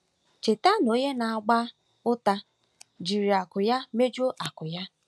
Cheta na onye na-agba ụta “jiri akụ ya mejuo akụ́ ya”.